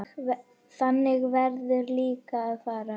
Þannig verður líka að fara.